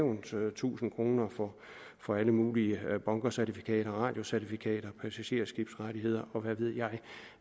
tusind kroner for for alle mulige bunkercertifikater og radiocertifikater og passagerskibsrettigheder og hvad ved jeg